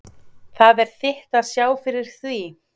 Það er þitt að sjá fyrir því.